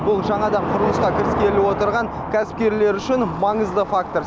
бұл жаңадан құрылысқа кіріскелі отырған кәсіпкерлер үшін маңызды фактор